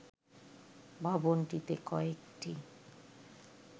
ভবনটিতে কয়েকটি